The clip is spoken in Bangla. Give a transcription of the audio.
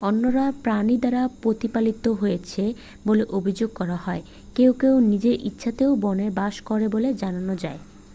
অন্যরা প্রাণী দ্বারা প্রতিপালিত হয়েছে বলে অভিযোগ করা হয় কেউ কেউ নিজের ইচ্ছাতেই বনে বাস করে বলে জানা যায়